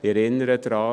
Ich erinnere daran: